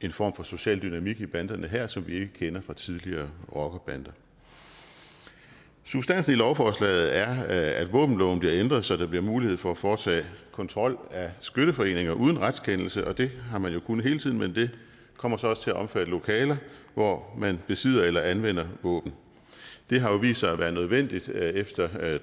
en form for social dynamik i banderne her som vi ikke kender fra tidligere rockerbander substansen i lovforslaget er at våbenloven bliver ændret så der bliver mulighed for at foretage kontrol af skytteforeninger uden retskendelse det har man jo kunnet hele tiden men det kommer så også til at omfatte lokaler hvor man besidder eller anvender våben det har vist sig at være nødvendigt efter